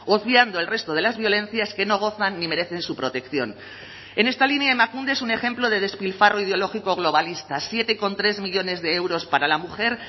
obviando el resto de las violencias que no gozan ni merecen su protección en esta línea emakunde es un ejemplo de despilfarro ideológico globalista siete coma tres millónes de euros para la mujer